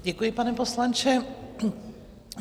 Děkuji, pane poslanče.